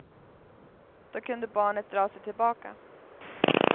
Då kunde barnet dra sig tillbaka.